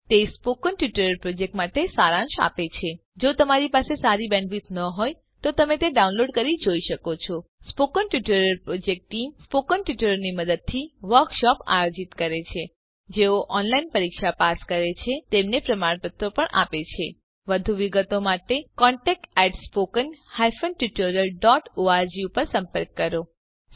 1 તે spoken tutorial પ્રોજેક્ટનો સારાંશ આપે છે જો તમારી બેન્ડવિડ્થ સારી ન હોય તો તમે ડાઉનલોડ કરી તે જોઈ શકો છો spoken tutorial project team spoken ટ્યુટોરીયલોનાં મદદથી વર્કશોપોનું આયોજન કરે છે જેઓ ઓનલાઈન પરીક્ષા પાસ કરે છે તેમને પ્રમાણપત્રો આપે છે વધુ વિગત માટે કૃપા કરી contactspoken tutorialorg પર સંપર્ક કરો